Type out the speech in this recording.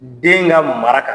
Den ŋa mara kan